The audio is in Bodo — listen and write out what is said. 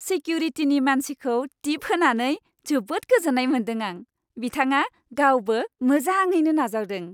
सिकिउरिटिनि मानसिखौ टिप होनानै जोबोद गोजोन्नाय मोनदों आं, बिथाङा गावबो मोजाङैनो नाजावदों।